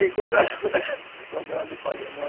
E quando, e quando era